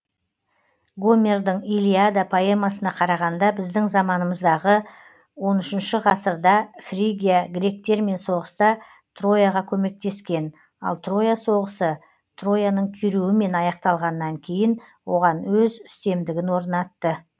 гомердың иллиада поэмасына қарағанда біздің заманымыздағы он үшінші ғасырда фригия гректермен соғыста трояға көмектескен ал троя соғысы трояың күйреуімен аяқталғаннан кейін оған өз үстемдігін орнатты